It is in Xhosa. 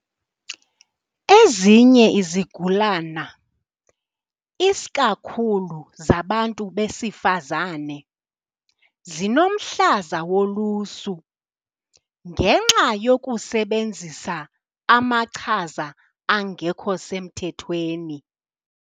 Ezinye izigulana isikakhulu zabantu besifazane zinomhlaza wolusu ngenxa yokusebenzisa amachiza angekho semthethweni.